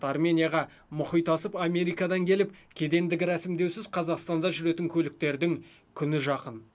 арменияға мұхит асып америкадан келіп кедендік рәсімдеусіз қазақстанда жүретін көліктердің күні жақын